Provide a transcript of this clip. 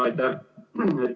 Aitäh!